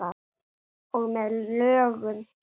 Og með lögum frá